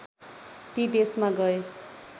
ती देशमा गए